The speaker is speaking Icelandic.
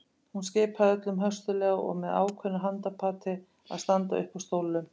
Hún skipaði öllum höstuglega og með ákveðnu handapati að standa upp úr stólunum.